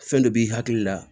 Fɛn dɔ b'i hakili la